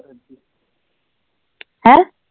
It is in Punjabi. ਹੈਂ